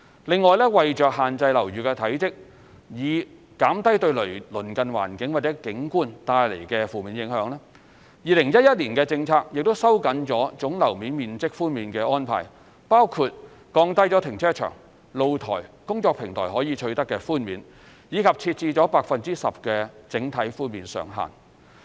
另外，為限制樓宇體積，以減低對鄰近環境或景觀帶來的負面影響 ，2011 年的政策亦收緊了總樓面面積寬免的安排，包括降低停車場、露台、工作平台可取得的寬免，以及設置了 10% 的整體寬免上限。